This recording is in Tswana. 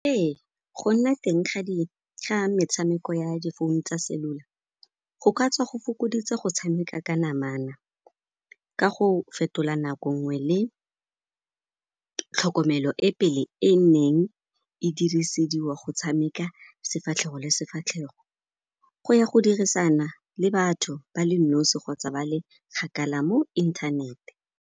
Ee, go nna teng ga metshameko ya difounu tsa cellular, go ka tswa go fokoditse go tshameka ka namana ka go fetola nako nngwe le tlhokomelo e pele e neng e dirisediwa go tshameka sefatlhego le sefatlhego go ya go dirisana le batho ba le nosi kgotsa ba le kgakala mo inthanete.